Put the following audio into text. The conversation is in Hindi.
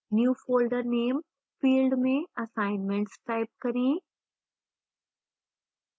new folder name field में assignments type करें